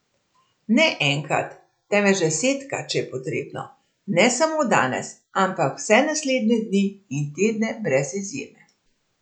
Ne enkrat, temveč desetkrat, če je potrebno, ne samo danes, ampak vse naslednje dni in tedne brez izjeme.